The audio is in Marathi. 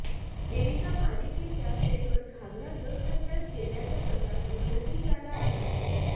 एरिका मालिकेच्या सेटवर घाघरा न घालताच गेल्याचा प्रकार उघडकीस आला आहे